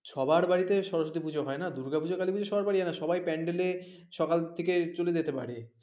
সবার বাড়িতে সরস্বতী পুজো হয় না দুর্গা পুজো কালী পুজো সবার বাড়িতে হয়না সবাই panel এ সকাল থেকে চলে যেতে পারে,